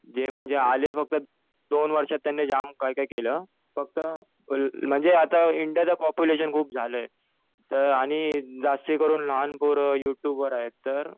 जे म्हणजे आले तसं दोन वर्षात त्यांनी जाम काही काही केलं.फक्त म्हणजे आता इंडियाचं पॉप्युलेशन खूप झालंय. तर आणि जास्तीकरून लहान पोरं यु ट्युब वर आहे तर